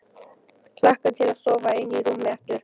Hlakka til að sofa ein í rúmi aftur.